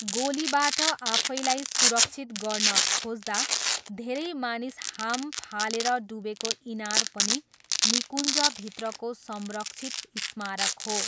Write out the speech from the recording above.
गोलीबाट आफैलाई सुरक्षित गर्न खोज्दा धेरै मानिस हाम फालेर डुबेको इनार पनि निकुञ्जभित्रको संरक्षित स्मारक हो।